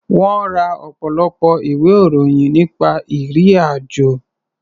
Wọ́n ra ọ̀pọ̀lọpọ̀ ìwé-ìròyìn nípa ìrì-àjò.